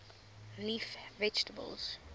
leaf vegetables